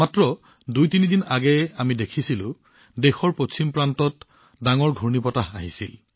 মাত্ৰ দুইতিনি দিন আগতে আমি দেখিছিলো যে দেশৰ পশ্চিম দিশত কিমান ডাঙৰ ঘূৰ্ণীবতাহ আহিছিল